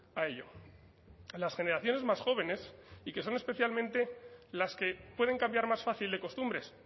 a ello las generaciones más jóvenes y que son especialmente las que pueden cambiar más fácil de costumbres